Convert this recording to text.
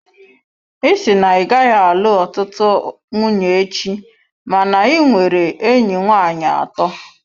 Ị sị na ị gaghị alụ ọtụtụ nwunye echi, mana ị nwere enyi nwanyị atọ.